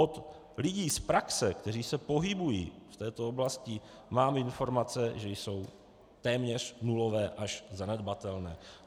Od lidí z praxe, kteří se pohybují v této oblasti, mám informace, že jsou téměř nulové až zanedbatelné.